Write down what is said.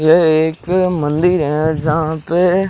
ये एक मंदिर है जहां पे--